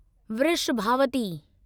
Vrishabhavati